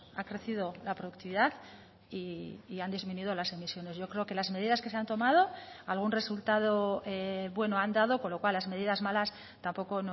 ha crecido la productividad y han disminuido las emisiones yo creo que las medidas que se han tomado algún resultado bueno han dado con lo cual las medidas malas tampoco